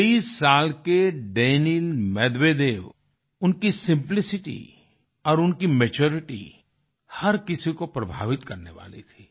23 साल के Daniil Medvedev उनकी सिम्पलिसिटी और उनकी मैच्यूरिटी हर किसी को प्रभावित करने वाली थी